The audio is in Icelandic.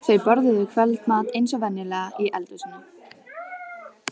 Þau borðuðu kvöldmat eins og venjulega í eldhúsinu.